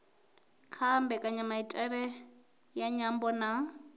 kha mbekanyamaitele ya nyambo na